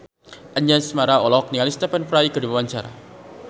Anjasmara olohok ningali Stephen Fry keur diwawancara